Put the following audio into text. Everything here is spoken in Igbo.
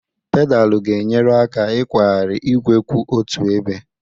Pedalu ga-enyere aka ịkwagharị igwe kwụ otu ebe.